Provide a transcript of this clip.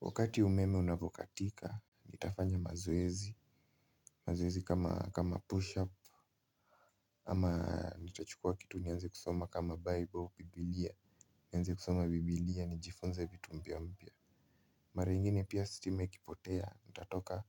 Wakati umeme unavokatika nitafanya mazoezi. Mazoezi kama push up. Ama nitachukua kitu nianze kusoma kama bible biblia. Nianze kusoma biblia nijifunze vitu mpya mpya. Mara ingine pia stima ikipotea, nitatoka